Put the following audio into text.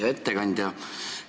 Hea ettekandja!